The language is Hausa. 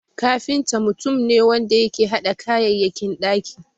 Kafinta mutum ne wanda yake hada kayayyakin ɗaki.